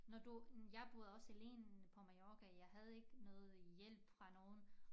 Når du jeg boede også alene på Mallorca jeg havde ikke noget hjælp fra nogen